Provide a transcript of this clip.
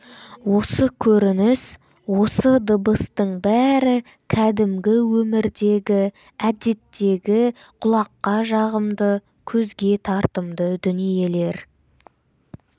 осы көрініс осы дыбыстың бәрі кәдімгі өмірдегі әдеттегі құлаққа жағымды көзге тартымды дүниелер